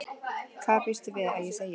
Hvað býstu við að ég segi?